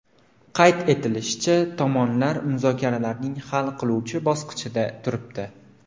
Qayd etilishicha, tomonlar muzokaralarning hal qiluvchi bosqichida turibdi.